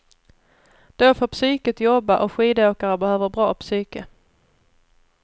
Då får psyket jobba och skidåkare behöver bra psyke.